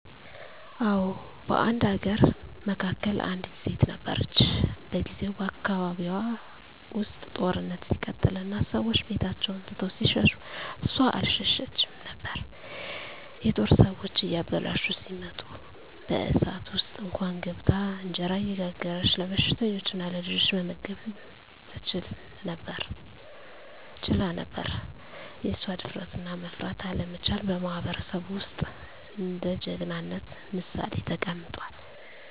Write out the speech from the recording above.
አዎ፣ በአንድ አገር መካከል አንዲት ሴት ነበረች። በጊዜው በአካባቢዋ ውስጥ ጦርነት ሲቀጥል እና ሰዎች ቤታቸውን ትተው ሲሸሹ እሷ አልሸሸችም ነበር። የጦር ሰዎች እያበላሹ ሲመጡ በእሳት ውስጥ እንኳን ገብታ እንጀራ እየጋገረች ለበሽተኞችና ለልጆች መመገብ ትችላ ነበር። የእሷ ድፍረትና መፍራት አለመቻል በማህበረሰቡ ውስጥ እንደ ጀግናነት ምሳሌ ተቀምጧል።